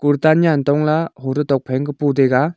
kurta nyan tongla hoto tokphai ankhe po taiga.